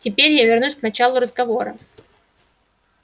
теперь я вернусь к началу разговора